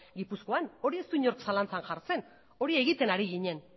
gipuzkoan hori ez du inork zalantzan jartzen hori egiten ari ginen